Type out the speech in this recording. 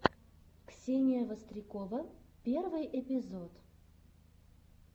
ксения вострикова первый эпизод